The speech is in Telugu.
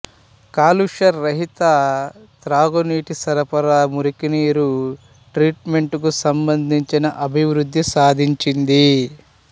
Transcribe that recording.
కాలుష్యరహిత తాగునీటి సరఫరా మురికినీరు ట్రీట్మెంటుకు సంబంధించిన అభివృద్ధి సాధించింది